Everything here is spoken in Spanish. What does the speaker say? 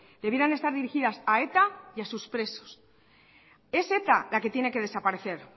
debieran estar dirigidas a eta y a sus presos es eta la que tiene que desaparecer